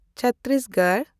Chhattisgarh